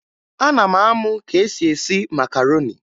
Ana m amụ ka esi esi makaroni